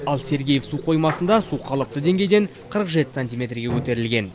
ал сергеев су қоймасында су қалыпты деңгейден қырық жеті сантиметрге көтерілген